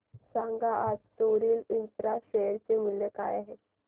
सांगा आज Soril infra share चे मूल्य काय आहे